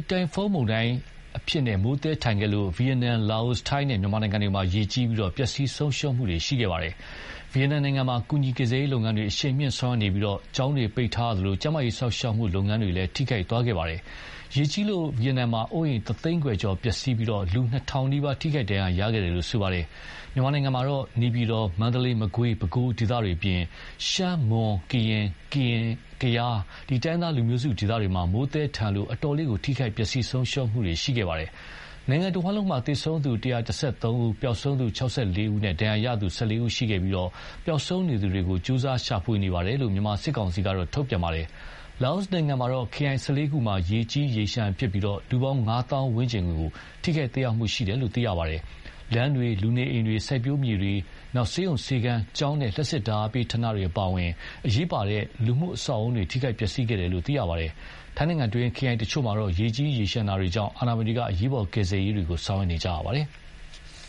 တိုင်ဖွန်းမုန်တိုင်းအရှိန်နဲ့ မိုးသည်းထန်ခဲ့လို့ ဗီယက်နမ်၊ လာအို၊ ထိုင်းနဲ့ မြန်မာနိုင်ငံတွေမှာ ရေကြီးပြီး ပျက်စီးဆုံးရှုံးမှုတွေရှိခဲ့ပါတယ်။ ဗီယက်နာမ်နိုင်ငံမှာ ကူညီကယ်ဆယ်ရေးလုပ်ငန်းတွေ အရှိန်မြှင့်ဆောင်ရွက်နေပြီး ကျောင်းတွေပိတ်ထားရသလို ကျန်းမာရေးစောင့်ရှောက်မှုလုပ်ငန်းတွေလည်း ထိခိုက်ခဲ့ပါတယ်။ ရေကြီးလို့ ဗီယက်နမ်မှာ အိုးအိမ် တသိန်းခွဲကျော်ပျက်စီးပြီး လူ နှစ်ထောင်နီးပါး ထိခိုက်ဒဏ်ရရခဲ့ပါတယ်။ မြန်မာနိုင်ငံမှာတော့ နေပြည်တော်၊ မန္တလေး၊ မကွေး၊ ပဲခူး ဒေသတွေအပြင် ရှမ်း၊ မွန်၊ ကရင်၊ ကရင်၊ ကယား တိုင်းရင်းသားလူမျိုးစုဒေသတွေမှာ မိုးသည်းထန်လို့ အတော်လေး ထိခိုက်ပျက်စီးဆုံးရှုံးမှုတွေရှိခဲ့ပါတယ်။ နိုင်ငံတဝှမ်းလုံးမှာ သေဆုံးသူ ၁၁၃ဦး၊ ပျောက်ဆုံးသူ ၆၄ ဦး၊ ဒဏ်ရာရခဲ့သူ ၁၄ ဦး ရှိခဲ့ပြီး ပျောက်ဆုံးနေသူများကို ကြိုးစား ရှာဖွေလျက်ရှိတယ်လို့ မြန်မာစစ်ကောင်စီက ထုတ်ပြန်ပါတယ်။ လာအိုနိုင်ငံမှာတော့ ခရိုင် ၁၄ ခုမှာ ရေကြီးရေလျှံဖြစ်ပြီး၊ လူပေါင်း ငါးသောင်းဝန်းကျင်ကို ထိခိုက်သက်ရောက်မှုရှိတယ်လို့ သိရပါတယ်။ လမ်းတွေ၊ လူနေအိမ်တွေ စိုက်ပျိုးမြေတွေ ဆေးရုံဆေးခန်း ကျောင်းနဲ့ လျှပ်စစ်ဓါတ်အားပေးဌာနတွေအပါအဝင် အရေးပါတဲ့လူမှုအဆောက်အဦးတွေ ထိခိုက်ပျက်စီးခဲ့တယ်လို့ သိရပါတယ်။ ထိုင်းနိုင်ငံတွင်း ခရိုင်တချို့မှာရေကြီးရေလျှံတာတွေကြောင့်အာဏာပိုင်တွေက အရေးပေါ်ကယ်ဆယ်ရေးတွေ ဆောင်ရွက်နေကြရပါတယ်။